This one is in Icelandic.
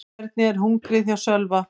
Hvernig er hungrið hjá Sölva?